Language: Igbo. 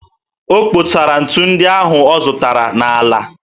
O kposara ntu ndị ahụ ọ zụtara n'ala